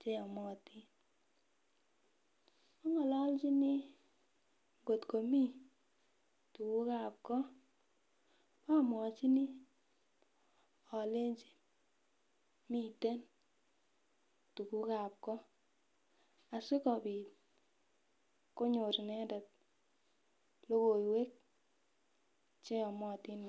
cheyomotin. Ang'olochin ngot komii tugukab goo amwachini alenji miten tugukab goo, asikobit konyor inendet logoiwek cheyomotin.